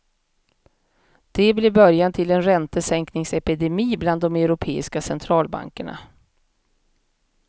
Det blev början till en räntesänkningsepidemi bland de europeiska centralbankerna.